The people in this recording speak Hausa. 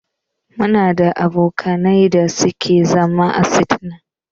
Muna da abokanai da ke zama a china.